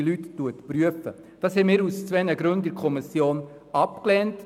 Dies lehnten wir in der Kommission aus zwei Gründen ab.